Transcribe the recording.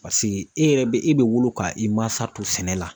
e yɛrɛ be e Be wolo ka i masa to sɛnɛ la.